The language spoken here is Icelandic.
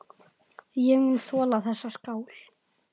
Ég mun þola þessa skál.